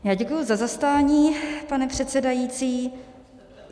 Já děkuju za zastání, pane předsedající.